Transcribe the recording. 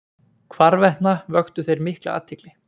Hvarvetna vöktu þeir mikla athygli.